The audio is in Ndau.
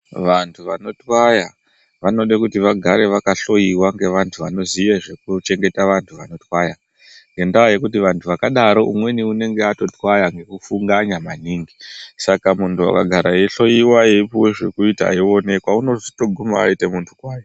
Vantu vanotwaya vanode kuti vagare vaka hloyiwa ngevantu vanoziye zvekuchengeta vantu vanotwaya nekuti vantu vakadaro umweni anonga atotwaya zvekufungaya maningi saka muntu akagara ayi hloyiwa eyipuwa zvekuita eyioneka anotoguma ava muntu kwaye.